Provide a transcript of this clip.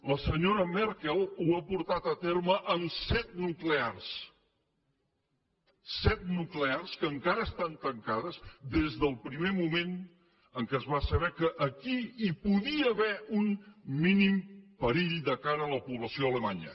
la senyora merkel ho ha portat a terme amb set nuclears set nuclears que encara estan tancades des del primer moment en què es va saber que aquí hi podia haver un mínim perill de cara a la població alemanya